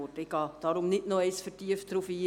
Ich gehe nicht erneut vertieft darauf ein.